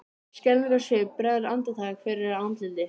Skelfingarsvip bregður andartak fyrir á andliti